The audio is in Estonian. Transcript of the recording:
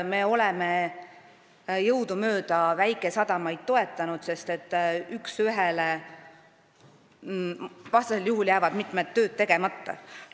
Me oleme jõudumööda väikesadamaid toetanud, sest vastasel juhul jääksid mitmed tööd tegemata.